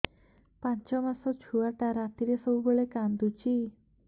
ପାଞ୍ଚ ମାସ ଛୁଆଟା ରାତିରେ ସବୁବେଳେ କାନ୍ଦୁଚି